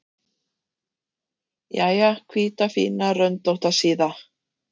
Jæja, hvíta, fína, röndótta síða.